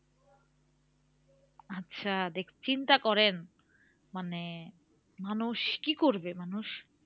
আচ্ছা চিন্তা করেন মানে মানুষ কি করবে মানুষ?